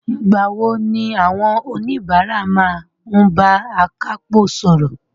Ìgbà wo ni àwọn oníbàárà máa ń bá akápò sọ̀rọ̀?